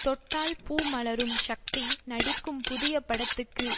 தொட்டால் பூ மலரும் ஷக்தி நடிக்கும் புதிய படத்துக்கு